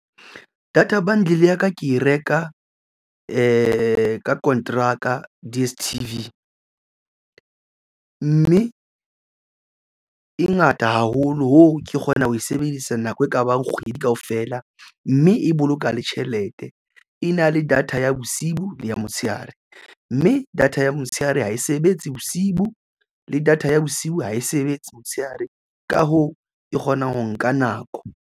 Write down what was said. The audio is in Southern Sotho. Data bundle ya ka ke e reka ka konteraka D_S_T_V mme e ngata haholo hoo ke kgona ho e sebedisa nako e kabang kgwedi kaofela feela mme e boloka le tjhelete. E na le data ya bosiu le ya motshehare mme data ya motshehare ha e sebetse bosibu le data ya bosiu ha e sebetse motshehare ka hoo e kgona ho nka nako.